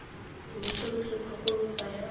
loso lo setlhogo lo tsaya